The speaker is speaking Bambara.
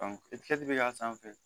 bɛ k'a sanfɛ